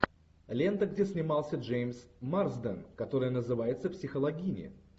лента где снимался джеймс марсден который называется психологини